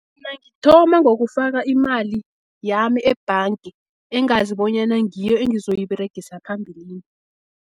Mina ngithoma ngokufaka iimali, yami ebhangi engazi, bonyana ngiyo engizoyiberegisa phambilini.